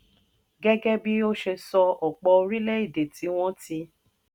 gẹ́gẹ́ bí ó ṣe sọ ọ̀pọ̀ orílẹ̀-èdè tí wọ́n ti